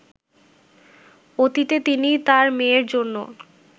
অতীতে তিনি তার মেয়ের জন্য